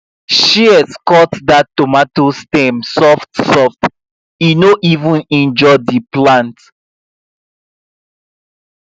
shears cut that tomato stem softsoft e no even injure the plant